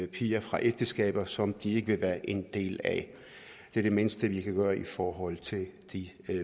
piger fra ægteskaber som de ikke vil være en del af det er det mindste vi kan gøre i forhold til de